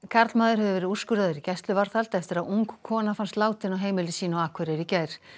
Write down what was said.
karlmaður hefur verið úrskurðaður í gæsluvarðhald eftir að ung kona fannst látin á heimili sínu á Akureyri í gær